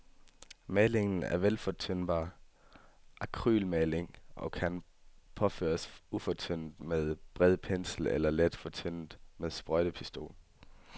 Malingen er vandfortyndbar akrylmaling og kan påføres ufortyndet med bred pensel eller let fortyndet med sprøjtepistol.